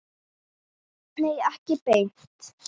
Nei, ekki beint.